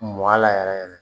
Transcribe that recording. Mɔ a la yɛrɛ yɛrɛ